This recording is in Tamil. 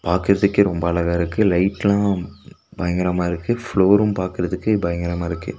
பாக்றதிக்கே ரொம்ப அழகா இருக்கு லைட்லாம் பயங்கரமா இருக்கு ஃப்ளோரும் பாக்றதிக்கு பயங்கரமா இருக்கு.